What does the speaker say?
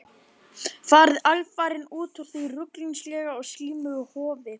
Farið alfarinn út úr því ruglingslega og slímuga hofi.